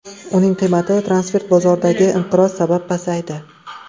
Uning qiymati transfer bozoridagi inqiroz sabab pasaydi.